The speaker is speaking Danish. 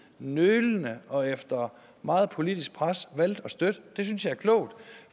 nølende og efter meget politisk pres valgte at støtte det synes jeg er klogt